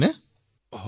হয় হয় মহোদয়